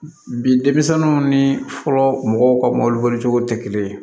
Bi denmisɛnninw ni fɔlɔ mɔgɔw ka mobili boli cogo tɛ kelen ye